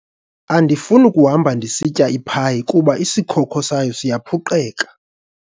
Andifuni kuhamba ndisitya iphayi kuba isikhokho sayo siyaphuqeka.